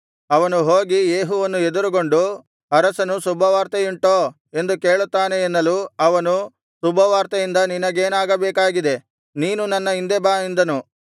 ಅವನು ಹೋಗಿ ಯೇಹುವನ್ನು ಎದುರುಗೊಂಡು ಅರಸನು ಶುಭವಾರ್ತೆಯುಂಟೋ ಎಂದು ಕೇಳುತ್ತಾನೆ ಎನ್ನಲು ಅವನು ಶುಭವಾರ್ತೆಯಿಂದ ನಿನಗೇನಾಗಬೇಕಾಗಿದೆ ನೀನು ನನ್ನ ಹಿಂದೆ ಬಾ ಎಂದನು